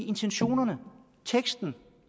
intentionerne og teksten